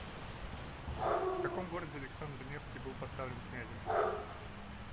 в каком городе александр невский был поставлен князем